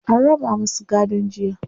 an raba masu gadon jiya.